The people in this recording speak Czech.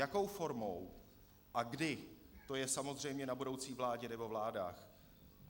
Jakou formou a kdy, to je samozřejmě na budoucí vládě nebo vládách.